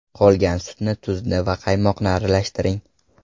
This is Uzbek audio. Qolgan sutni, tuzni va qaymoqni aralashtiring.